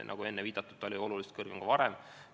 Nagu enne viidatud, ta oli oluliselt kõrgem ka varem.